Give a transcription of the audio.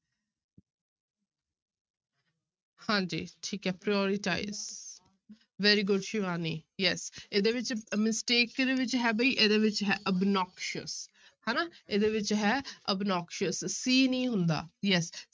ਹਾਂਜੀ ਠੀਕ ਹੈ prioritize very good Shivani yes ਇਹਦੇ ਵਿੱਚ mistake ਕਿਹਦੇ ਵਿੱਚ ਹੈ ਵੀ ਇਹਦੇ ਵਿੱਚ ਹੈ obnoxious ਹਨਾ ਇਹਦੇ ਵਿੱਚ ਹੈ obnoxious, c ਨਹੀਂ ਹੁੰਦਾ yes